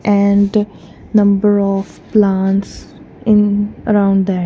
and number of plants in around there.